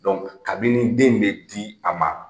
kabini den in bɛ di a ma